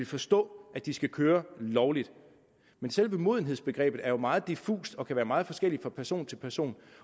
forstå at de skal køre lovligt men selve modenhedsbegrebet er jo meget diffust det kan være meget forskelligt fra person til person